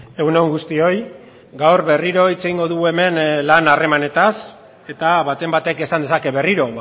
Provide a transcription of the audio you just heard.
egun on guztioi gaur berriro hitz egingo dugu hemen lan harremanetaz eta baten batek esan dezake berriro